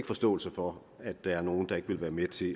forståelse for at der er nogle der ikke vil være med til